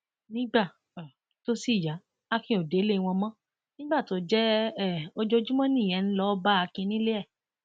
nígbà um tó sì yá akin ò délé wọn mọ nígbà tó jẹ um ojoojúmọ nìyẹn ń lọọ bá akin nílé e